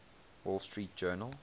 wall street journal